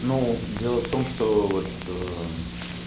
ну дело в том что вот